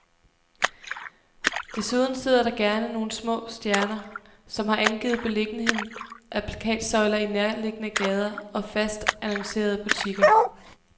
Desuden sidder der gerne nogle små stjerner, som har angivet beliggenheden af plakatsøjler i nærliggende gader og fast annoncerende butikker.